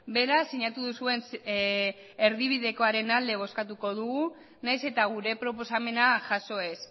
beraz sinatu duzuen erdibidekoaren alde bozkatuko dugu nahiz eta gure proposamena jaso ez